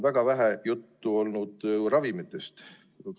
Väga vähe juttu on olnud ravimitest.